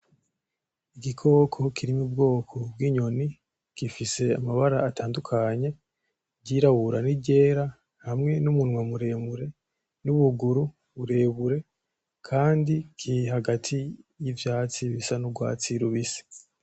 Igikoko kiri m’ubwoko bw’inyoni gifise amabara atandukanye iryirabura; n’iryera hamwe n’umunwa muremure n’ubuguru burebure kandi kiri hagati yivyatsi bisa n’ugwatsi rubisi.